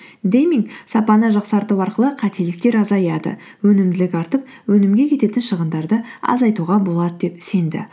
дейминг сапаны жақсарту арқылы қателіктер азаяды өнімділік артып өнімге кететін шығындарды азайтуға болады деп сенді